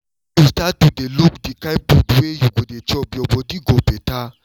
when you start to dey look the kind food wey you go dey chop your body go better